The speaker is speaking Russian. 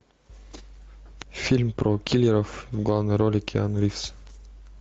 фильм про киллеров в главной роли киану ривз